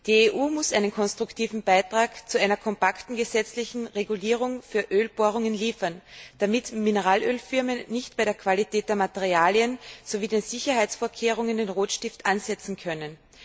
Die EU muss einen konstruktiven Beitrag zu einer kompakten gesetzlichen Regulierung für Ölbohrungen liefern, damit Mineralölfirmen nicht bei der Qualität der Materialien sowie den Sicherheitsvorkehrungen den Rotstift ansetzen können.